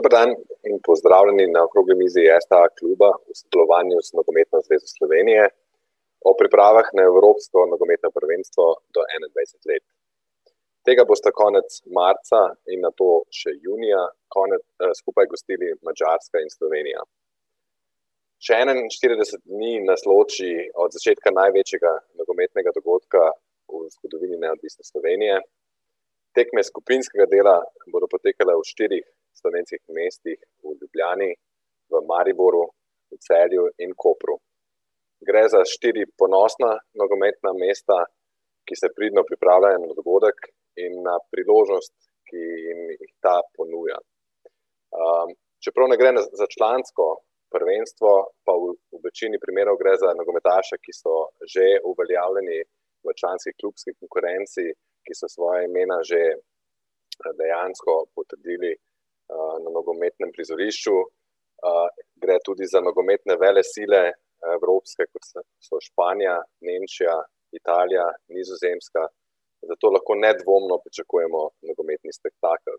Dober dan. In pozdravljeni na okrogli mizi STA kluba v sodelovanju z Nogometno zvezo Slovenije v pripravah na evropsko nogometno prvenstvo do enaindvajset let. Tega bosta konec marca in nato še junija skupaj gostili Madžarska in Slovenija. Še enainštirideset dni nas loči od začetka največjega nogometnega dogodka v zgodovini neodvisne Slovenije. Tekme skupinskega dela bodo potekale v štirih slovenskih mestih, v Ljubljani, v Mariboru, v Celju in Kopru. Gre za štiri ponosna nogometna mesta, ki se pridno pripravljajo na dogodek in, priložnost, ki ta ponuja. čeprav ne gre za, za člansko prvenstvo, pa v večini primerov gre za nogometaše, ki so že uveljavljali v članski klubski konkurenci, ki so svoja imena že, dejansko potrdili, na nogometnem prizorišču. gre tudi za nogometne velesile evropske, kot sta, so Španija, Nemčija, Italija, Nizozemska ... Zato lahko nedvomno pričakujemo nogometni spektakel.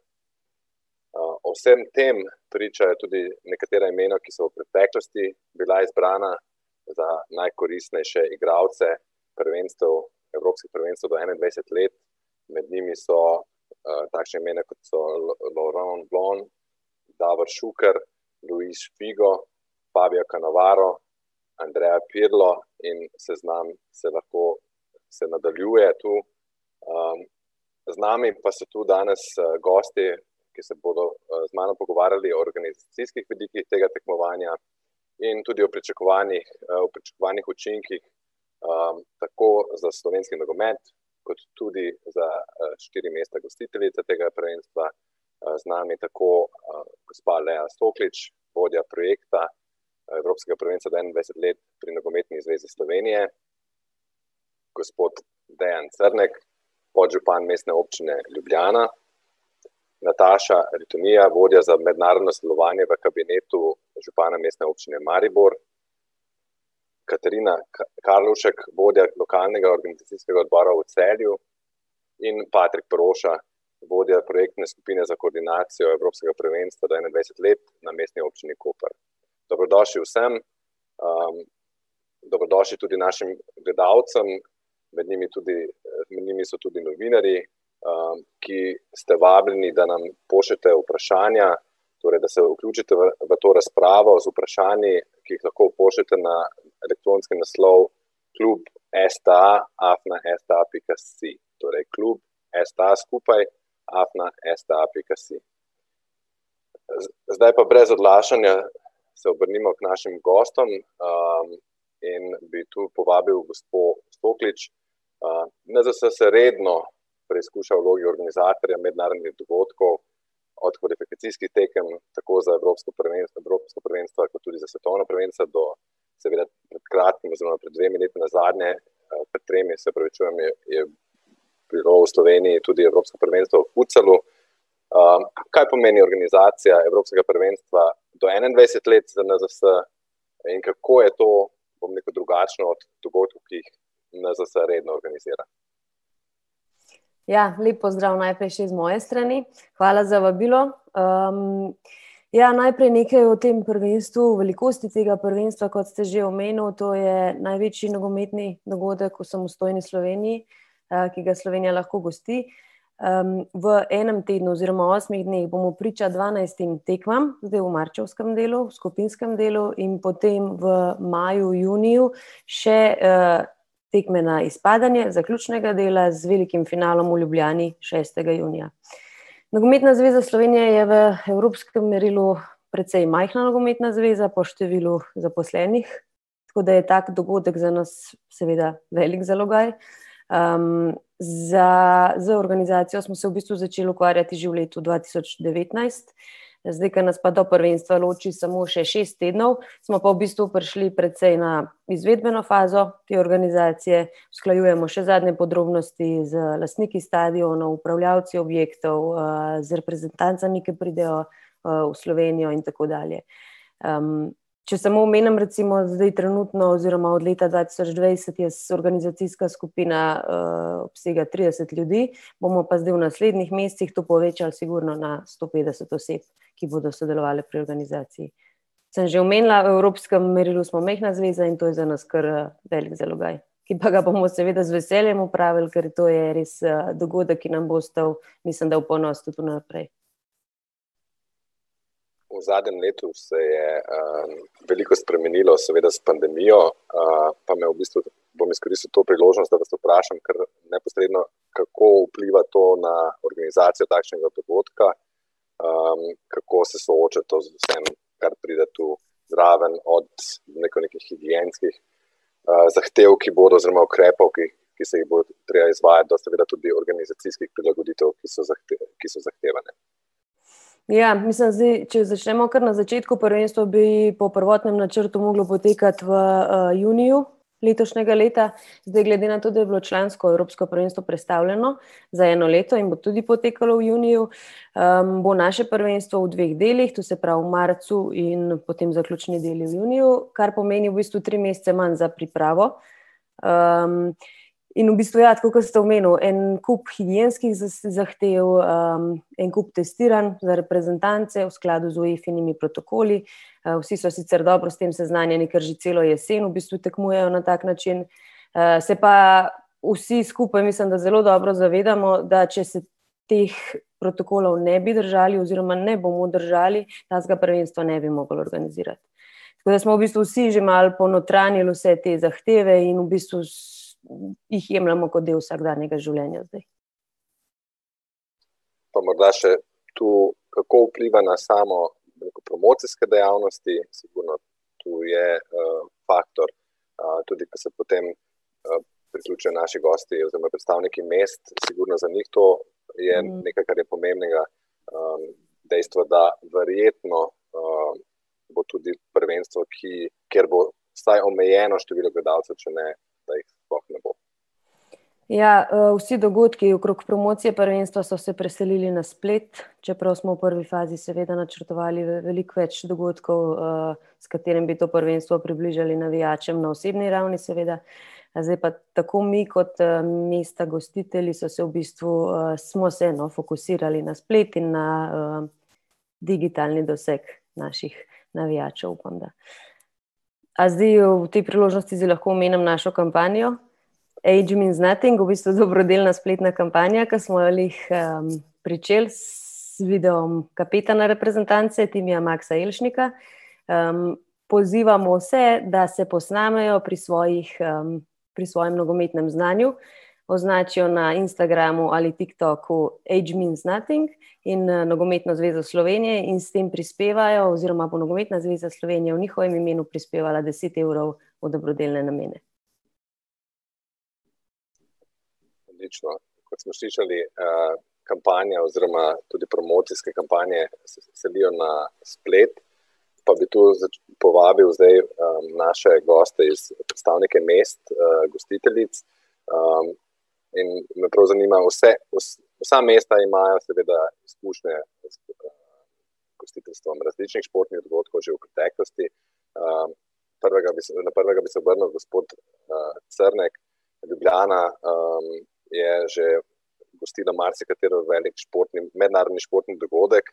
ob vsem tem pričajo tudi nekatera imena, ki so v preteklosti bila izbrana za najkoristnejše igralce prvenstev, evropskih prvenstev do enaindvajset let. Med njimi so, takšna imena, kot so Loron Bon, Davor Šuker, Luis Spigo, Paolo Cannavaro, Andrea Pirlo, in seznam se ne bo, se nadaljuje tu. z nami pa so tu danes, gosti, ki se bodo, z mano pogovarjali o organizacijskih tega tekmovanja in tudi o pričakovanjih, o pričakovanih učinkih, tako za slovenski nogomet kot tudi za, štiri mesta gostiteljice tega prvenstva. z nami tako, gospa Lea Soklič, vodja projekta evropskega prvenstva do enaindvajset let pri Nogometni zvezi Slovenije, gospod Dejan Crnek, podžupan Mestne občine Ljubljana, Nataša Ritonija, vodja za mednarodno sodelovanje v kabinetu župana Mestne občine Maribor, Katarina Kalovšek, vodja lokalnega organizacijskega odbora v Celju, in Patrik Peroša, vodja projektne skupine za koordinacijo evropskega prvenstva do enaindvajset let na Mestni občini Koper. Dobrodošli vsem, dobrodošli tudi našim gledalcem in med njimi tudi, med njimi so tudi novinarji, ki ste vabljeni, da nam pošljete vprašanja, torej da se vključite v, v to razpravo z vprašanji, ki jih lahko pošljete na elektronski naslov klub sta afna sta pika si. Torej klub sta, skupaj, afna sta pika si. zdaj pa brez odlašanja se obrnimo k našim gostom, in bi tu povabil gospo Soklič, NZS se redno preizkuša v vlogi organizatorja mednarodnih dogodkov, od kvalifikacijskih tekem, tako za evropsko prvenstvo, evropska prvenstva, kot tudi za svetovna prvenstva do seveda pred kratkim oziroma dve leti nazaj je, pred tremi, se opravičujem, je, je bilo v Sloveniji tudi evropsko prvenstvo v . kaj pomeni organizacija evropskega prvenstva do enaindvajset let na NZS in kako je to, bom rekel, drugačno od dogodkov, ki jih NZS redno organizira? Ja, lep pozdrav najprej še z moje strani, hvala za vabilo, Ja, najprej nekaj o tem prvenstvu, velikosti tega prvenstva, kot ste že omenil, to je največji nogometni dogodek v samostojni Sloveniji, ki ga Slovenija lahko gosti. v enem tednu oziroma osmih dneh bomo priča dvanajstim tekmam, zdaj v marčevskem delu, skupinskem delu, in potem v maju, juniju še, tekme na izpadanje zaključnega dela, z velikim finalom v Ljubljani šestega junija. Nogometna zveza Slovenije je v evropskem merilu precej majhna nogometna zveza po številu zaposlenih, tako da je tako dogodek za nas seveda velik zalogaj. za, z organizacijo smo se v bistvu začeli ukvarjati že v letu dva tisoč devetnajst, zdaj ko nas pa do prvenstva loči samo še šest tednov, smo pa v bistvu prišli precej na izvedbeno fazo te organizacije, usklajujemo še zadnje podrobnosti z lastniki stadionov, upravljalci objektov, z reprezentancami, ke pridejo, v Slovenijo, in tako dalje. če samo omenim recimo, zdaj trenutno oziroma od leta dva tisoč dvajset je organizacijska skupina, obsega trideset ljudi, bomo pa zdaj v naslednjih mesecih to povečali sigurno na sto petdeset oseb, ki bodo sodelovale pri organizaciji. Sem že omenila, v evropskem merilu smo majhna zveza in to je za nas kar velik zalogaj. Ki pa ga bomo seveda z veseljem opravili, ker to je res, dogodek, ki nam bo ostal, mislim da, v ponos tudi v naprej. V zadnjem letu se je, veliko spremenilo, seveda s pandemijo, pa me v bistvu, bom izkoristil to priložnost, da vas vprašam kar neposredno, kako vpliva to na organizacijo takšnega dogodka? kako se sooča to s tem, kar pride tu zraven, od nekih higienskih, zahtev, ki bodo, oziroma ukrepov, ki, ki se jih bo treba izvajati, do seveda tudi organizacijskih prilagoditev, ki so ki so zahtevane? Ja, mislim zdaj, če začnemo kar na začetku, prvenstvo bi po prvotnem načrtu moglo potekati v, juniju letošnjega leta, zdaj glede na to, da je bilo člansko evropsko prvenstvo prestavljeno za eno leto in bo tudi potekalo v juniju, bo naše prvenstvo v dveh delih, to se pravi marcu in potem zaključni del v juniju, kar pomeni v bistvu tri mesece manj za pripravo. in v bistvu ja, tako kot ste omenil, en kup higienskih zahtev, en kup testiranj za reprezentance v skladu z Uefinimi protokoli, vsi so sicer dobro s tem seznanjeni, ker že celo jesen v bistvu tekmujejo na tak način, se pa vsi skupaj, mislim da, zelo dobro zavedamo, da če se teh protokolov ne bi držali oziroma ne bomo držali, takega prvenstva ne bi mogli organizirati. Tako da smo v bistvu vsi že malo ponotranjili vse te zahteve in v bistvu jih jemljemo kot del vsakdanjega življenja . Pa morda še to, kako vpliva na samo, promocijske dejavnosti oziroma tu je, faktor, tudi, ko se potem, priključijo naši gosti oziroma predstavniki mest, in sigurno za njih to tudi je nekaj, kar je pomembnega. dejstvo, da verjetno, bo tudi prvenstvo, ki kjer bo vsaj omejeno število gledalcev, če ne da jih sploh ne bo. Ja, vsi dogodki okrog promocije prvenstva so se preselili na splet, čeprav smo v prvi fazi seveda načrtovali veliko več dogodkov, s katerimi bi to prvenstvo približali navijačem na osebni ravni, seveda. zdaj pa tako mi kot, mesta gostitelji so se v bistvu, smo se, no, fokusirali na splet in na, digitalni doseg naših navijačev, upam, da. zdaj v, ob tej priložnosti zdaj lahko omenim našo kampanjo, Age means nothing, v bistvu dobrodelna spletna kampanja, ke smo jo glih, pričeli s, z videom kapetana rezprezentance, Timija Maksa Jelšnika, pozivamo vse, da se posnamejo pri svojih, pri svojem nogometnem znanju, označijo na Instagramu ali TikToku Age means nothing in, Nogometno zvezo Slovenije in s tem prispevajo oziroma bo Nogometna zveza Slovenije v njihovem imenu prispevala deset evrov v dobrodelne namene. Odlično. Kot smo slišali, kampanja oziroma tudi promocijske kampanje se selijo na splet, pa bi tu povabil zdaj, naše goste iz, predstavnike mest, gostiteljic, in me prav zanimajo vse, vsa mesta imajo seveda službe gostiteljstva različnih športnih dogodkov že v preteklosti, prvega bi seveda, prvega bi se obrnil, gospod, Crnek, Ljubljana, je že gostila marsikatero od, velik športni, mednarodni športni dogodek,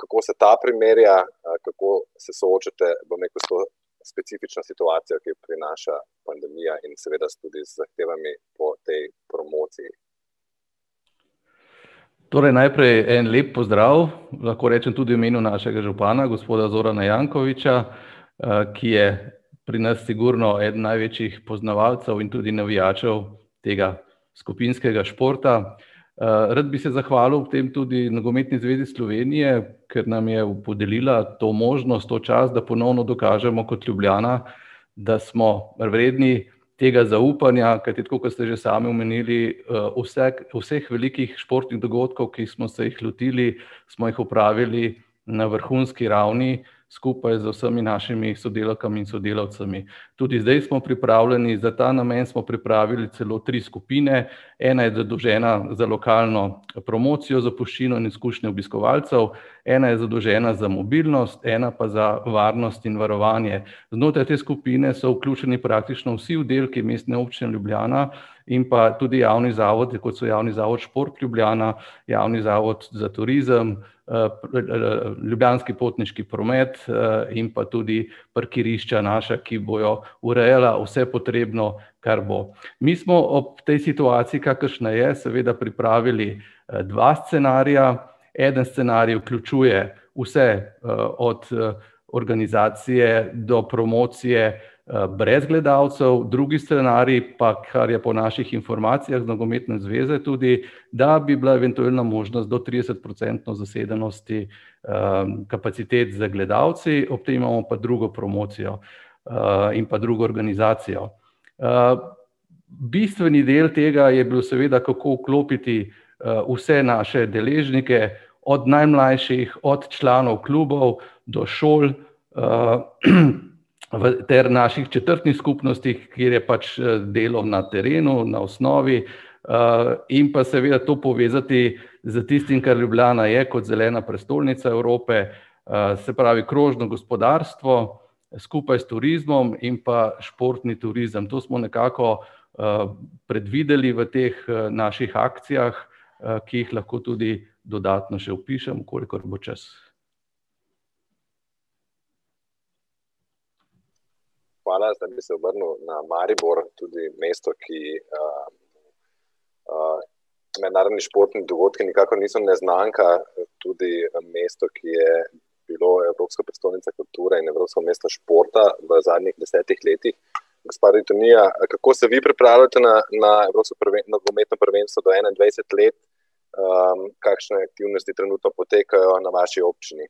kako se ta primerja, kako se soočate, bom rekel, s to specifično situacijo, ki jo prinaša pandemija, in seveda s tudi zahtevami po tej promociji? Torej najprej en lep pozdrav, lahko rečem tudi v imenu našega župana, gospoda Zorana Jankovića, ki je pri nas sigurno eden največjih poznavalcev in tudi navijačev tega skupinskega športa. rad bi se zahvalil ob tem tudi Nogometni zvezi Slovenije, ker nam je podelila to možnost, to čast, da ponovno dokažemo kot Ljubljana, da smo vredni tega zaupanja, kajti tako, kot ste že sami omenili, vse, vseh velikih športnih dogodkov, ki smo se jih lotili, smo jih opravili na vrhunski ravni, skupaj z vsemi našimi sodelavkami in sodelavci. Tudi zdaj smo pripravljeni, za ta namen smo pripravili celo tri skupine, ena je zadolžena za lokalno promocijo, zapuščino in izkušnjo obiskovalcev, ena je zadolžena za mobilnost, ena pa za varnost in varovanje. Znotraj te skupine so vključeni praktično vsi oddelki Mestne občine Ljubljana, in pa tudi javni zavodi, kot so Javni zavod Šport Ljubljana, Javni zavod za turizem, Ljubljanski potniški promet, in pa tudi parkirišča naša, ki bojo urejala vse potrebno, kar bo. Mi smo ob tej situaciji, kakršna je, seveda pripravili, dva scenarija, eden scenarij vključuje vse, od, organizacije do promocije, brez gledalcev, drugi scenarij pa, kar je po naših informacijah nogometne zveze tudi, da bi bila eventualna možnost do tridesetprocentne zasedenosti, kapacitet z gledalci, ob tem imamo pa drugo promocijo, in pa drugo organizacijo. bistveni del tega je bil seveda, kako vklopiti, vse naše deležnike, od najmlajših, od članov klubov do šol, v, ter naših četrtnih skupnostih, kjer je pač, delo na terenu, na osnovi, in pa seveda to povezati s tistim, kar Ljubljana je kot zelena prestolnica Evrope, se pravi, krožno gospodarstvo skupaj s turizmom in pa športni turizem. To smo nekako, predvideli v teh, naših akcijah, ki jih lahko tudi dodatno še opišem, kolikor bo čas. Hvala, zdaj bi se obrnil na Maribor, tudi mesto, ki, mednarodni športni dogodki nikakor niso neznanka, tudi v mestu, ki je bilo evropska prestolnica kulture in evropsko mesto športa v zadnjih desetih letih. Gospa Ritonija, kako se vi pripravljate na, na evropsko nogometno prvenstvo do enaindvajset let? kakšne aktivnosti trenutno potekajo na vaši občini?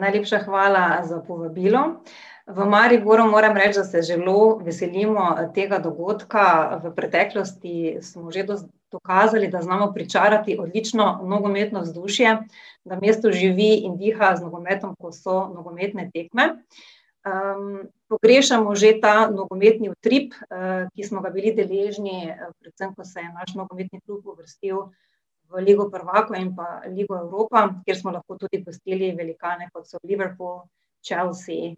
Najlepša hvala za povabilo. V Mariboru, moram reči, da se zelo veselimo tega dogodka. V preteklosti smo že dokazali, da znamo pričarati odlično nogometno vzdušje. No, mesto živi in diha z nogometom, kot so nogometne tekme, pogrešamo že ta nogometni utrip, ki smo ga bili deležni, predvsem ko se je naš nogometni klub uvrstil v Ligo prvakov in pa Ligo Evropa, kjer smo lahko tudi gostili velikane, kot so Liverpool, Chelsea,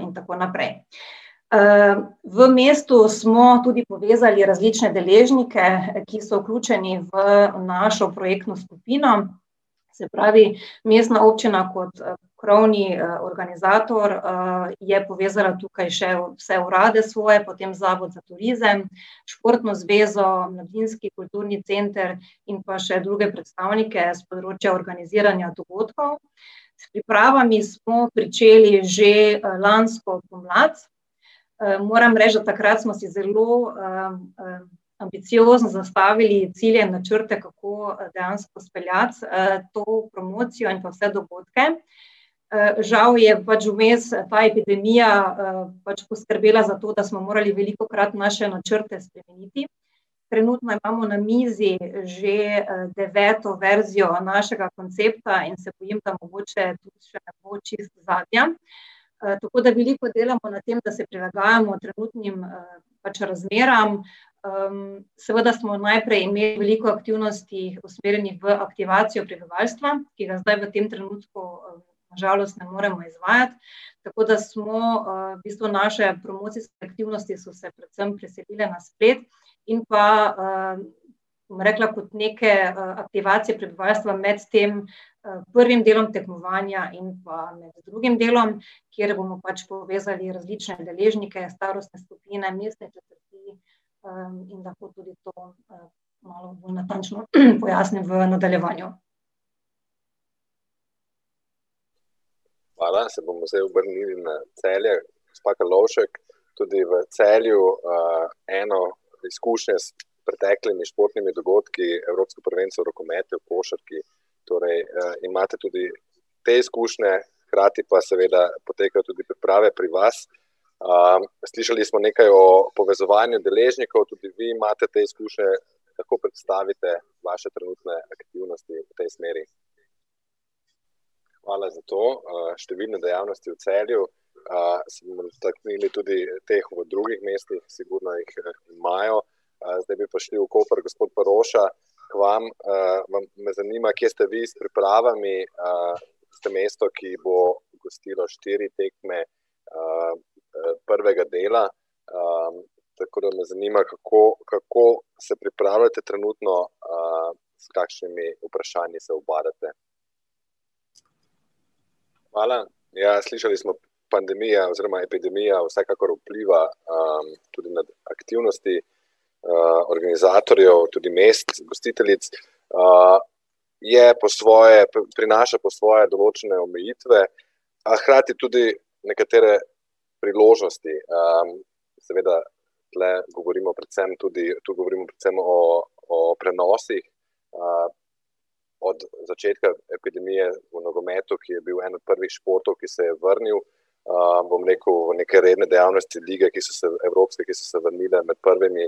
in tako naprej. v mestu smo tudi povezali različne deležnike, ki so vključeni v našo projektno skupino, se pravi mestna občina kot, krovni, organizator, je povezala tukaj še vse urade svoje, potem Zavod za turizem, športno zvezo Mladinski kulturni center in pa še druge predstavnike s področja organiziranja dogodkov. S pripravami smo pričeli že, lansko pomlad, moram reči, da takrat smo si zelo, ambiciozno zastavili cilje in načrte, kako dejansko speljati, to promocijo in pa vse dogodke. žal je pač vmes ta epidemija, pač poskrbela za to, da smo morali velikokrat naše načrte spremeniti, trenutno imamo na mizi že, deveto verzijo našega koncepta in se bojim, da mogoče še ne bo čisto zadnja. tako da veliko delamo na tem, da se prilagajamo trenutnim, pač razmeram, seveda smo najprej imeli veliko aktivnosti usmerjenih v aktivacijo prebivalstva, ki ga zdaj v tem trenutku, na žalost ne moramo izvajati, tako da smo, v bistvu naše promocijske aktivnosti so se predvsem preselile na splet in pa, bom rekla kot neke, aktivacije prebivalstva med tem, prvim delom tekmovanja in pa med drugim delom, kjer bomo pač povezali različne deležnike, starostne skupine, mestne četrti, in lahko tudi to bolj, malo bolj natančno pojasnim v nadaljevanju. Hvala, se bomo zdaj obrnili na Celje, gospa Karlovšek, tudi v Celju, eno s preteklimi športnimi dogodki, evropsko prvenstvo v rokometu, v košarki, torej, imate tudi te izkušnje. Hkrati pa seveda potekajo tudi priprave pri vas. slišali smo nekaj o povezovanju deležnikov, tudi vi imate te izkušnje, lahko predstavite vaše trenutne aktivnosti v tej smeri? Hvala za to, številne dejavnosti v Celju, se bomo dotaknili tudi teh v drugih mestih, sigurno jih imajo, zdaj pa šli v Koper, gospod Peroša, k vam, vam, me zanima, kje ste vi s pripravami, ste mesto, ki bo gostilo štiri tekme, prvega dela. tako da me zanima, kako, kako se pripravljate trenutno, s kakšnimi vprašanji se ubadate? Hvala, ja, slišali smo, pandemija oziroma epidemija vsekakor vpliva, tudi na aktivnosti organizatorjev tudi mest gostiteljic, je po svoje, tudi prinaša po svoje določene omejitve, a hkrati tudi nekatere priložnosti, Seveda tule govorimo predvsem tudi, tu govorimo predvsem o, o prenosih, od začetka epidemije v nogometu, ki je bil en od prvih športov, ki se je vrnil, bom rekel, v neke redne dejavnosti, lige, ki so se, evropske, ki so se vrnile med prvimi,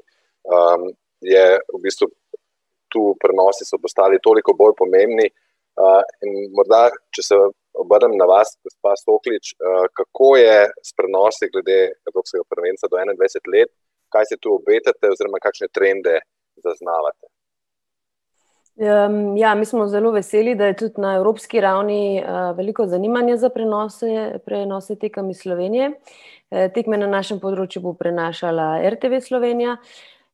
je v bistvu tu, prenosi so postali toliko bolj pomembni. in morda, če se obrnem na vas, gospa Soklič, kako je s prenosi glede evropskega prvenstva do enaindvajset let, kaj si tu obetate oziroma kakšne trende zaznavate? ja, mi smo zelo veseli, da je tudi na evropski ravni, veliko zanimanja za prenose, prenose tekem iz Slovenije. tekme na našem področju bo prenašala RTV Slovenija,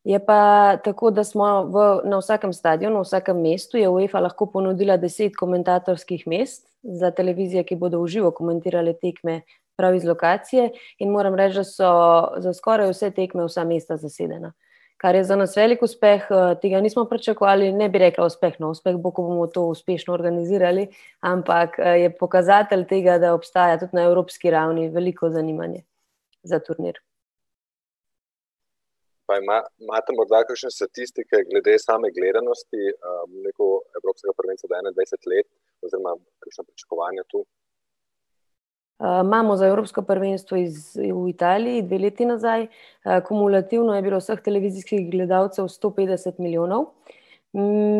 je pa tako, da smo v, na vsakem stadionu, vsakem mestu je UEFA lahko ponudila deset komentatorskih mest za televizije, ki bodo v živo komentirale tekme prav iz lokacije, in moram reči, da so za skoraj vse tekme vsa mesta zasedena. Kar je za nas velik uspeh, tega nismo pričakovali, ne bi rekla uspeh, no, uspeh bo, ko bomo to uspešno organizirali, ampak je pokazatelj tega, da obstaja tudi na evropski ravni veliko zanimanje za turnir. Pa imate morda kakšne statistike glede same gledanosti, bom rekel, evropskega prvenstva do enaindvajset let oziroma so pričakovanja tu? imamo za evropsko prvenstvo in Italiji, dve leti nazaj, kumulativno je bilo vseh televizijskih gledalcev sto petdeset milijonov,